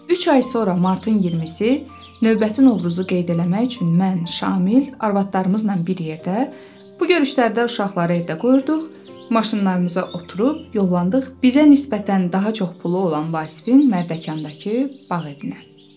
Üç ay sonra martın 20-i növbəti Novruzu qeyd eləmək üçün mən, Şamil, arvadlarımızla bir yerdə, bu görüşlərdə uşaqları evdə qoyurduq, maşınlarımıza oturub yollandıq bizə nisbətən daha çox pulu olan Vasifin Mərdəkandakı bağ evinə.